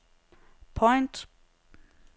point